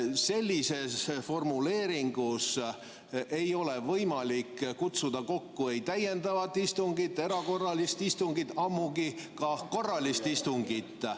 Sellises formuleeringus ei ole võimalik kutsuda kokku ei täiendavat istungit ega erakorralist istungit, ammugi korralist istungit.